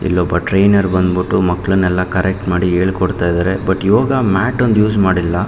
ಇಲ್ಲೊಬ್ಬ ಟ್ರೈನರ್ ಬಂದಬಿಟ್ಟು ಮಕ್ಕಳನೆಲ್ಲಾ ಕರೆಕ್ಟ್ ಮಾಡಿ ಹೇಳಕೊಡತ್ತಾ ಇದ್ದಾರೆ ಬಟ್ ಯೋಗ ಮ್ಯಾಟ್ ಒಂದು ಯೂಸ್ ಮಾಡಿಲ್ಲಾ.